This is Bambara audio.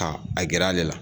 Ka a gɛrɛ ale la.